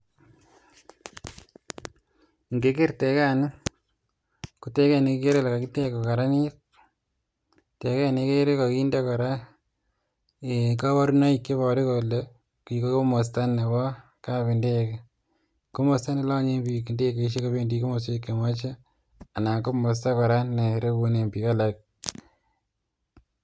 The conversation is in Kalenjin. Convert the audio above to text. Ngeker tegani ko teget nekikere kole kakitech kokararanit, teget nekere kakinde kora kabarunoik cheboru kole ni komosta nebo kapindege, komosta nelanye biik ndegeisiek kobendi komoswek chemoche anan komosta kora ne rekunen biik.